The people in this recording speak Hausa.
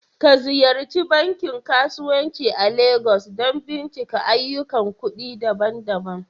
Ka Ziyarci bankin kasuwanci a Legas don bincika ayyukan kuɗi daban-daban